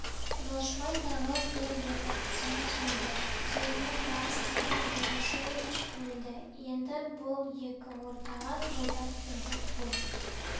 жолшыбай тағы бір-екі кісіміз өлді диірмен мастері юрашевич өлді енді бұл екі ортаға жылдам келдік бұл